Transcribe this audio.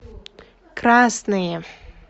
красные